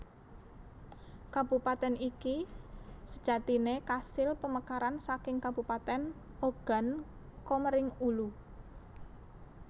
Kabupatèn iki sejatine kasil pemekaran saking kabupatèn Ogan Komering Ulu